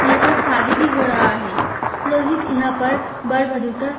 यहाँ पर शादी भी हो डाढा है पुरोहित यहाँ पर वर वधु का --